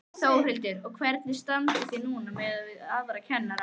Þórhildur: Og hvernig standið þið núna miðað við aðra kennara?